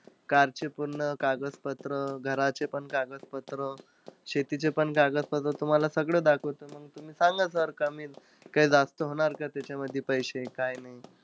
Car चे पण कागदपत्र, घराचे पण कागदपत्र, शेतीचे पण कागदपत्र. तुम्हाला सगळं दाखवतो मंग तुम्ही सांगा sir कमी काई जास्त होणार का त्याच्यामध्ये पैसे काय नाई?